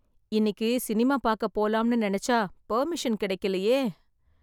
இன்னிக்கி சினிமா பாக்க போலாம்னு நினைச்சா பர்மிஷன் கிடைக்கலையே.